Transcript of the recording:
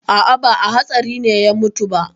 A'a, ba a hatsarin ne ya mutu ba.